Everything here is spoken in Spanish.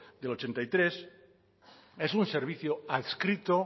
del ochenta y tres es un servicio adscrito